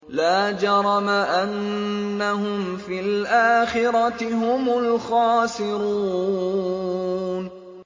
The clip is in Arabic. لَا جَرَمَ أَنَّهُمْ فِي الْآخِرَةِ هُمُ الْخَاسِرُونَ